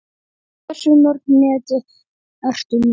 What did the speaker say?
Hversu mörg net ertu með?